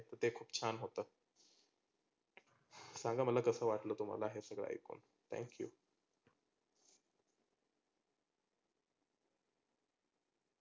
ते खुप छान होतंं सांगा मला कसं वाटलं तुम्हाला हे सगळ ऐकून thank you.